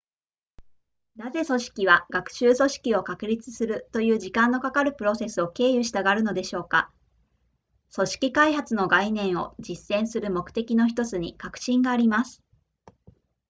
なぜ組織は学習組織を確立するという時間のかかるプロセスを経由したがるのでしょうか組織学習の概念を実践する目的の1つに革新があります